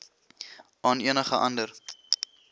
aan enige ander